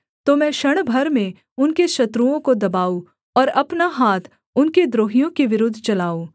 तो मैं क्षण भर में उनके शत्रुओं को दबाऊँ और अपना हाथ उनके द्रोहियों के विरुद्ध चलाऊँ